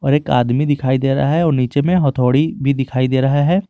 और एक आदमी दिखाई दे रहा है और नीचे में हथौड़ी भी दिखाई दे रहा है।